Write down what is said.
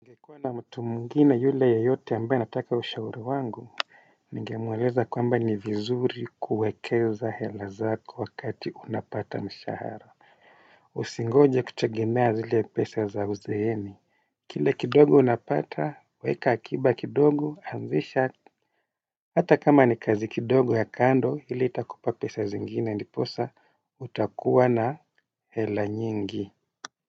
Ningekuwa na mtu mwingine yule yeyote ambaye anataka ushauri wangu ningemweleza kwamba ni vizuri kuwekeza hela zako wakati unapata mshahara. Usingoje kutegemea zile pesa za uzeeni. Kile kidogo unapata weka akiba kidogo anzisha. Hata kama ni kazi kidogo ya kando ili itakupa pesa zingine ndiposa utakuwa na hela nyingi.